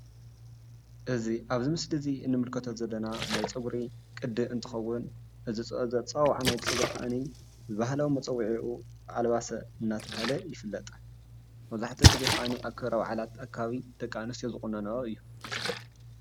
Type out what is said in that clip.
እዚ ኣብዚ ምስሊ እንምልከቶ ዘለና ናይ ፀጉሪ ቅዲ እንትከውን ባህላዊ ኣፀዋውዓ ብባሕላዊ መፀዊዒኡ ኣልዋሶ እንዳተባሃለ ይፍለጥ። መብዛሕቱኡ ግዜ ኣብ ክብረ ባዓላት ደቂ ኣንስትዮ ዝቁነነኦ እዩ።